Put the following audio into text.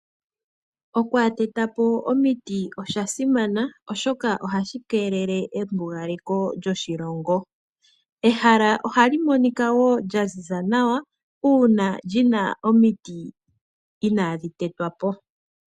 Okwaatetapo omiti oshasimana oshoka ohashi keelele embugaleko lyoshilongo. Ehala oha li monika woo lyaziza nawa, uuna lyina omiti inaadhi tetwapo.